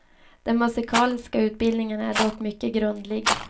Den musikaliska utbildningen är dock mycket grundlig.